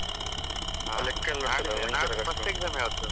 ನಾಡ್ದು first exam ಯಾವುದು?